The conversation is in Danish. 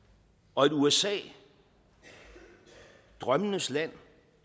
og et usa drømmenes land